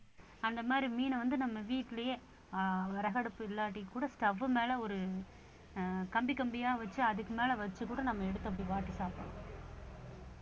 அந்த மாதிரி மீனை வந்து நம்ம வீட்டிலேயே அஹ் விறகடுப்பு இல்லாட்டி கூட stove மேலே ஒரு அஹ் கம்பி கம்பியாக வச்சு அதுக்கு மேலே வைச்சுக்கூட நம்ம எடுத்து அப்படி வாட்டி சாப்பிடலாம்